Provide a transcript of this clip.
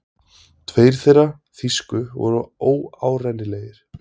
Tveir þeirra þýsku voru óárennilegir.